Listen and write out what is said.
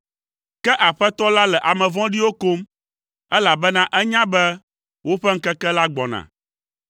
Ke Aƒetɔ la le ame vɔ̃ɖiwo kom, elabena enya be woƒe ŋkeke la gbɔna.